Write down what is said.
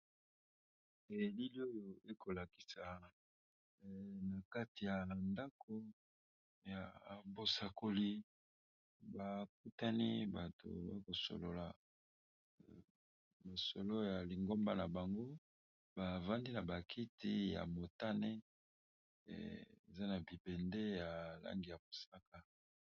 Elili oyo ekolakisa na kati ya nandako ya bosakoli baputani bato ba kosolola mosolo ya lingomba na bango bavandi na bakiti ya motane eza na bibende ya langi ya mosaka.